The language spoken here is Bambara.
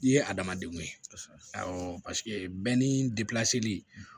I ye adamadenw ye awɔ bɛn ni